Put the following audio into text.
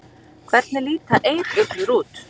Hvernig líta eyruglur út?